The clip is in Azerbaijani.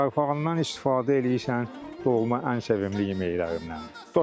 Yarpağından istifadə eləyirsən dolma ən sevimli yeməklərimdən.